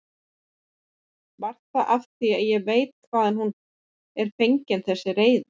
Var það af því ég veit hvaðan hún er fengin þessi reiði?